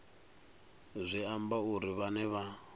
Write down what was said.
zwi amba uri vhane vha